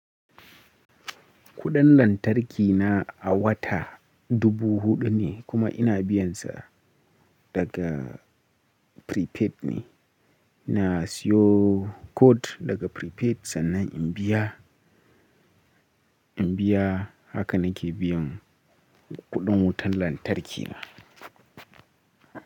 Kuɗin lantarki na a wata dubu huɗu ne kuma ina biyan sa daga prepaid ne. Na siyo code daga prepaid sannan in biya, in biya haka nake biyan kuɗin wutar lantarki na.